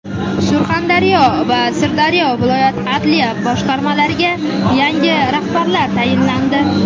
Surxondaryo va Sirdaryo viloyat adliya boshqarmalariga yangi rahbarlar tayinlandi.